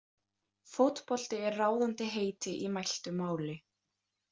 Fótbolti er ráðandi heiti í mæltu máli.